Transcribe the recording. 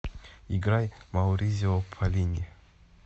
играй мауризио поллини